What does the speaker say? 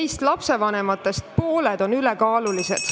Meist, lapsevanematest, on pooled ülekaalulised.